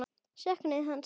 Söknuðu hans.